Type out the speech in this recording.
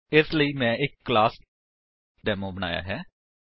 ਇਸਦੇ ਲਈ ਮੈਂ ਇੱਕ ਕਲਾਸ ਡੇਮੋ ਬਣਾਇਆ ਹੈ